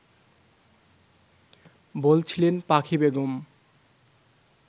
বলছিলেন পাখি বেগম